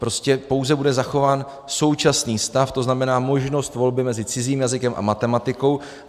Prostě pouze bude zachován současný stav, to znamená možnost volby mezi cizím jazykem a matematikou.